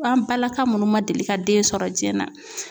An balaka munnu man deli ka den sɔrɔ jiyɛn na.